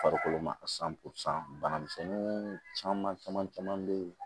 Farikolo ma san posɔn banamisɛnninw caman caman bɛ yen